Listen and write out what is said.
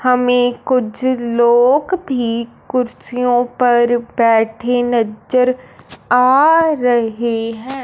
हमें कुछ लोग भी कुर्सियों पर बैठे नजर आ रहे है।